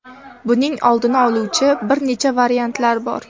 Buning oldini oluvchi bir necha variantlar bor.